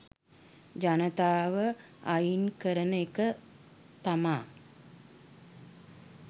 ජනතාව අයින් කරන එක තමා